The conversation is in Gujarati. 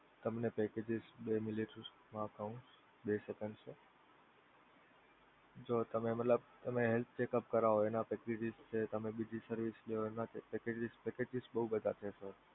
તમને packages બે minute મા કહું, બે second sir જો તમે મતલબ તમે Health Checkup કરાવો પછી એના પછી તમે બીજી service ના packages બોવ બધા છે.